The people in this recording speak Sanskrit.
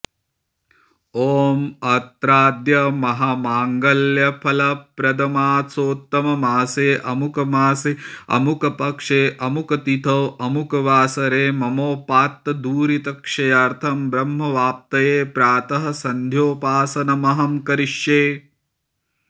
ॐ अत्राद्य महामाङ्गल्यफलप्रदमासोत्तमेमासे अमुकमासे अमुकपक्षे अमुकतिथौ अमुकवासरे ममोपात्तदुरितक्षयर्थं ब्रह्मवाप्तये प्रातःसन्ध्योपासनमहं करिष्ये